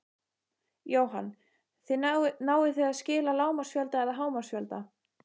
Jóhann: Náið þið að skila lágmarksfjölda eða hámarksfjölda?